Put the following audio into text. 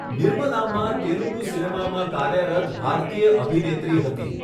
નિર્મલામ્મા તેલુગુ સિનેમામાં કાર્યરત ભારતીય અભિનેત્રી હતી.